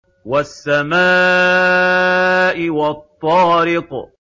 وَالسَّمَاءِ وَالطَّارِقِ